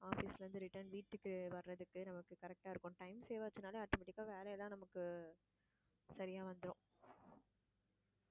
office ல இருந்து return வீட்டுக்கு வர்றதுக்கு நமக்கு correct ஆ இருக்கும் time save ஆச்சுன்னாலே automatic ஆ வேலை எல்லாம் நமக்கு சரியா வந்துரும்.